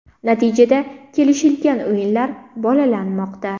Natijada kelishilgan o‘yinlar ‘bolalamoqda’.